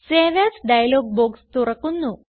save as dialog box തുറക്കുന്നു